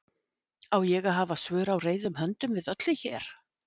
Á ég að hafa svör á reiðum höndum við öllu hér?